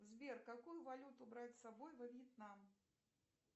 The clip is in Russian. сбер какую валюту брать с собой во вьетнам